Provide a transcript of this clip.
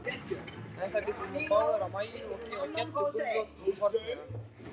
Þær líta nú báðar á Mæju, og gefa Geddu gulrót hornauga.